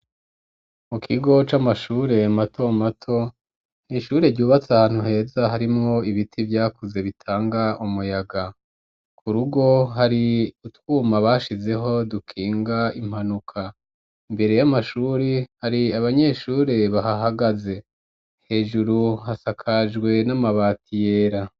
Mu kigo, c'amashure mato mato, ni ishure, ryubatse ahantu heza, harimwo ibiti, vyakuze, bitanga umuyaga; ku rugo, hari utwuma bashizeho, dukinga impanuka; imbere y'amashuri, hari abanyeshure bahahagaze; hejuru, hasakajwe n'amabati, yera.